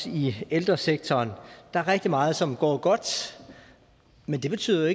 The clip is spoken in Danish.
i ældresektoren der er rigtig meget som går godt men det betyder